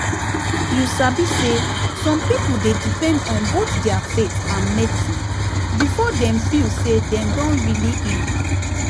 you sabi say some people dey depend on both their faith and medicine before dem feel say dem don really heal